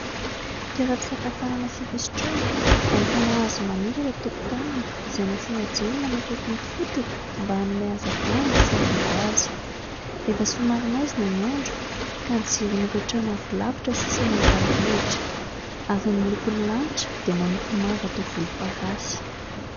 Toeram-pisakafoanana sy fisotroana ahitana hazo maniry eh an-tokontaniny, izay nasiana jiro manakaiky ny fotony mba hanome hazavana sy hanaingo azy. Efa somary maizina ny andro ka ny jiron'ireo trano avy alavitra sisa no hita mirehitra ary ny lokon'ny lanitra dia manompo manga toa volomparasy.